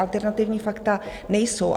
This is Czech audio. Alternativní fakta nejsou.